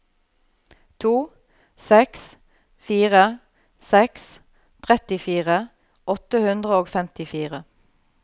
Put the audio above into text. to seks fire seks trettifire åtte hundre og femtifire